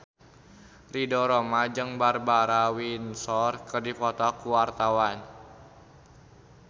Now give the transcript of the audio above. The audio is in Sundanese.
Ridho Roma jeung Barbara Windsor keur dipoto ku wartawan